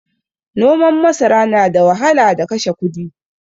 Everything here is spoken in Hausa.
Noman masara nada wahala da kashe kudi